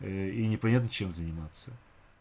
и непонятно чем заниматься